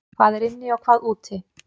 Hvað er inni og hvað úti?